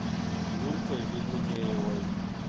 юлькой веденеевой